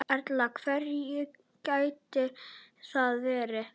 Erla: Hverjir gætu það verið?